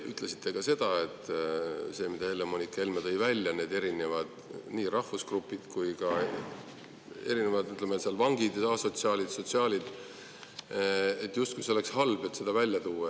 Te ütlesite ka seda, et see, mis Helle-Moonika Helme tõi välja – nii need erinevad rahvusgrupid kui ka erinevad grupid, näiteks vangid, asotsiaalid, sotsiaalid –, et justkui see oleks halb, et seda välja tuua.